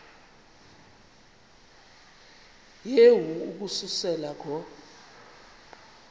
yehu ukususela ngo